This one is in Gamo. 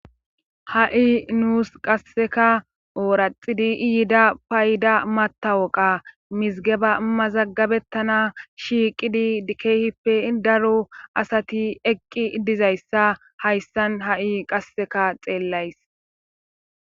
Ha'i nuus qasseka ooraxidi iyiida payda matawoqa mizigeba mazaggabettana shiiqidi dikeehippe daro asati eqqi dizayssa hayssan ha7i qasseka xeellays